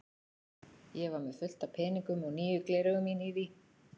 Ég var með fullt af peningum og nýju gleraugun mín í því.